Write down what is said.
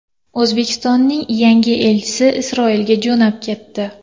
O‘zbekistonning yangi elchisi Isroilga jo‘nab ketdi.